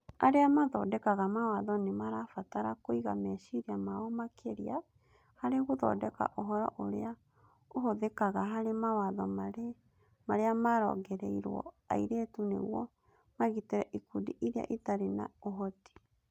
Arĩa mathondekaga mawatho nĩ marabatara kũiga meciria mao makĩria harĩ gũthondeka ũhoro ũrĩa ũhũthĩkaga harĩ mawatho marĩa marongoreirio airĩtu nĩguo magitĩre ikundi iria itarĩ na ũhoti.